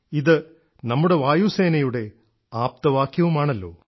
ഇത് നമ്മുടെ വായുസേനയുടെ ആപ്തവാക്യവുമാണല്ലോ